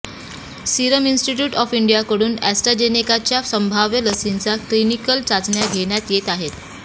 serum Institute of इंडियाकडून अॅस्ट्रॅजेनेकाच्या संभाव्य लसीच्या क्लिनिकल चाचण्या घेण्यात येत आहेत